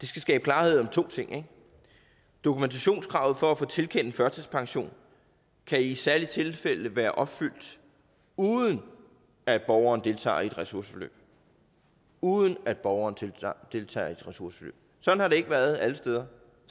skal skabe klarhed om to ting dokumentationskravet for at få tilkendt en førtidspension kan i særlige tilfælde være opfyldt uden at borgeren deltager i et ressourceforløb uden at borgeren deltager i ressourceforløb sådan har det ikke været alle steder